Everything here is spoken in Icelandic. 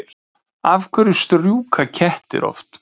Af hverju strjúka kettir oft?